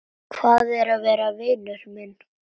Hvað er að, vinur minn?